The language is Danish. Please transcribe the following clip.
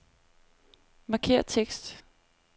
Markér tekst.